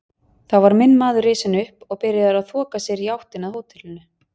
Þá var minn maður risinn upp og byrjaður að þoka sér í áttina að hótelinu.